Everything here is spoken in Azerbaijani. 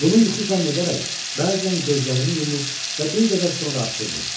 Bunu yuxu zənn edərək bəzən gözlərimi yumur və bir qədər sonra açırdım.